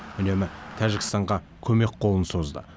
үнемі тәжікстанға көмек қолын созды